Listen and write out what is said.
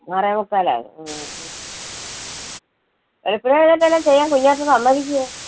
ആറേമുക്കാലാകും. വെളുപ്പിനെ എഴുനേറ്റ് വെല്ലോം ചെയ്യാൻ കുഞ്ഞാറ്റ സമ്മതിക്കുമോ?